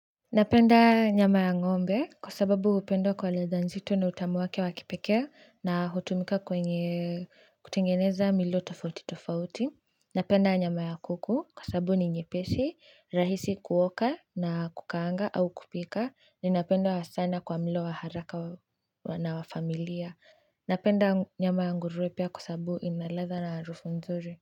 Napenda nyama ya ng'ombe kwa sababu hupendwa kwa ladha nzito na utamu wake wa kipekee na hutumika kwenye kutengeneza milo tofauti tofauti napenda nyama ya kuku kwa sababu ni nyepesi, rahisi kuoka na kukaanga au kupika ninapenda sana kwa mlo wa haraka wana wafamilia napenda nyama ya nguruwe pia kwa sababu ina ladha na harufu nzuri.